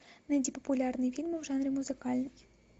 найди популярные фильмы в жанре музыкальный